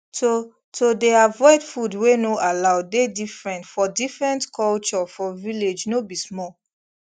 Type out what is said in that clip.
to to dey avoid food wey no allow dey different for different culture for village no be small